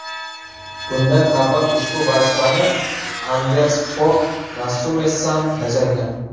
Bundan avval ushbu vazifani Anders Fog Rasmussen bajargan.